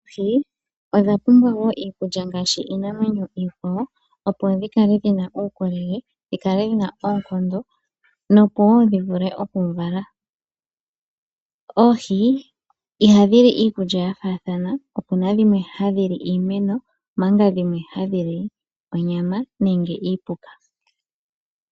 Oohi odha pumbwa wo iikulya ngaashi iinamwenyo iikwawo opo dhikale dhina uukolele, dhikale dhina oonkondo nopowo dhi vule oku vala. Oohi ihadhi li iikulya yafathana, opuna dhimwe hadhi li iimeno manga dhimwe hadhi li onyama nenge iipuka.